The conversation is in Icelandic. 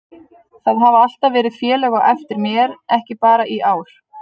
Það hafa alltaf verið félög á eftir mér, ekki bara í ár.